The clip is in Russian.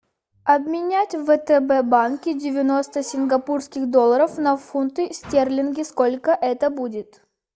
обменять в втб банке девяносто сингапурских долларов на фунты стерлинги сколько это будет